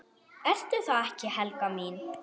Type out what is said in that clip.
Ertu það ekki, Helga mín?